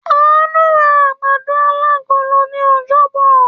Àánú ra àgbàdo alágolo ní ọjọ́bọ̀.